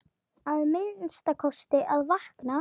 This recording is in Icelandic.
Að minnsta kosti að vakna.